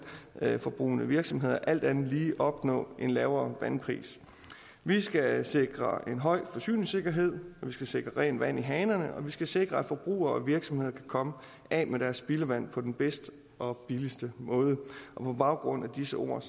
vandforbrugende virksomheder alt andet lige opnå en lavere vandpris vi skal sikre en høj forsyningssikkerhed vi skal sikre rent vand i hanerne og vi skal sikre at forbrugere og virksomheder kan komme af med deres spildevand på den bedste og billigste måde på baggrund af disse ord